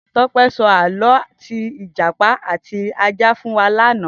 Tope sọ àlõ ti ijàpá àtí àjã fún wà làná